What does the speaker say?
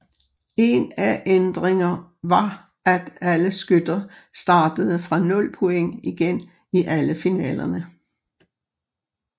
En af ændringer var at alle skytter startede fra nul point igen i alle finalerne